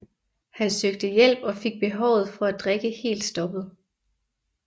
Han søgte hjælp og fik behovet for at drikke helt stoppet